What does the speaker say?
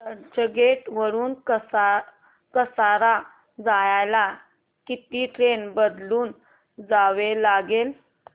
चर्चगेट वरून कसारा जायला किती ट्रेन बदलून जावे लागेल